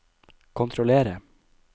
kontrollere